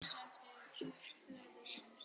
Enn sem fyrr mátti þó bóka að hann klagaði ekki.